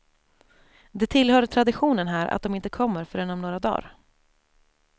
Det tillhör traditionen här att de inte kommer förrän om några dagar.